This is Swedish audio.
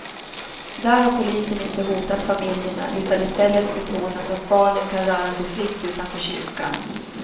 Där har polisen inte hotat familjerna utan i stället betonat att barnen kan röra sig fritt utanför kyrkan.